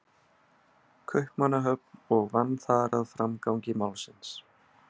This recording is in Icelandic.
Kaupmannahöfn og vann þar að framgangi málsins.